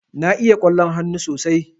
Na iya ƙwallon hannu sosai.